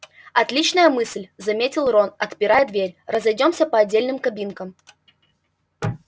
отличная мысль заметил рон отпирая дверь разойдёмся по отдельным кабинкам